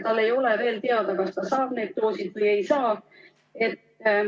Tal ei ole veel teada, kas ta saab need doosid või ei saa.